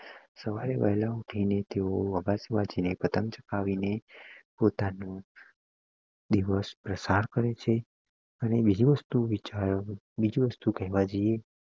સવારે વહેલા ઊઠીને તેઓ અગાસી માંથી પતંગ જગાવીને પોતાનું દિવસ પ્રસાર કરે છે અને બીજી વસ્તુ બીજી વસ્તુ કહેવા જઈએ